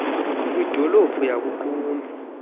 kwidolophu yaku qumbu